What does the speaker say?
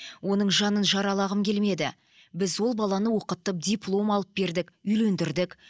оның жаның жаралағым келмеді біз ол баланы оқытып диплом алып бердік үйлендірдік